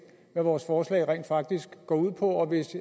hvad vores forslag rent faktisk går ud på og hvis